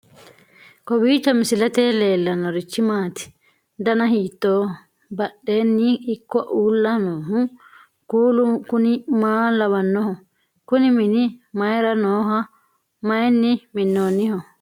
kowiicho misilete leellanorichi maati ? dana hiittooho ?abadhhenni ikko uulla noohu kuulu kuni maa lawannoho? kuni mini mayra nooho mayinni minnoonniho